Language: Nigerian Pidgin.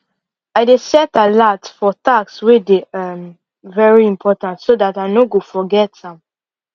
i dey set alert for task wey dey um very important so dat i no go forget am